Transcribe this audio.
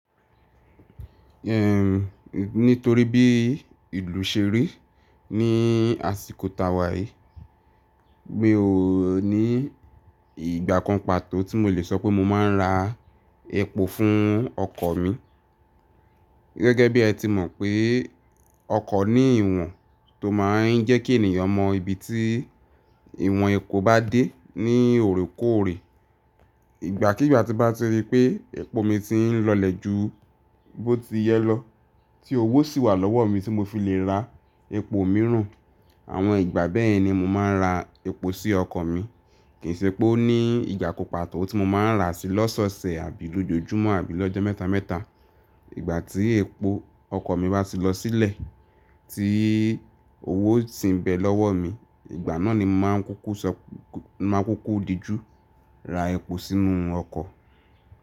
Ehn, nítorí bí ìlú ṣe rí ní àsìkò tàwà yìí, mi ò ní ìgbà kan pàtó tí mo lè sọ pé mo máa ń ra epo fún ọkọ̀ mi. Gẹ́gẹ́ bí ẹ ti mọ̀ pé ọkọ̀ ní ìwọ̀n tó máa ń jẹ́ kí ènìyàn mọ ibi tí ìwọ̀n epo bá dé ní òrekoòrè. Ìgbàkígbà tí bá ti rí pé epo mi ti ń lọlẹ̀ ju bó ti yẹ lọ, tí owó sì wà lọ́wọ́ mi tí mo fi lè ra epo mìíràn, àwọn ìgbà bẹ́ẹ̀ ni mo máa ń ra epo sí ọkọ̀ mi. Kìí ṣe pé ó ní ìgbà kan pàtó tí mo máa ń rà á sí lọ́sọ̀ọ̀sẹ̀ àbí lójoojúmọ́ àbí lọ́jọ́ mẹ́ta mẹ́ta. Ìgbà tí epo ọkọ̀ mi bá ti lọ sílẹ̀ tí owó sì ń bẹ lọ́wọ́ mi, ìgbà náà ni mọ máa ń kúkú sọ, máa ń kúkú dijú ra epo sínú ọkọ̀.